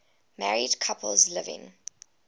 married couples living